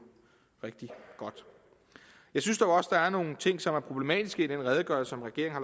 rigtig godt jeg synes dog også at der er nogle ting som er problematiske i den redegørelse som regeringen